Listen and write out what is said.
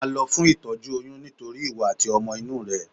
Máa lọ fún itoju oyún nítorí ìwọ àti ọmọ inú rẹ.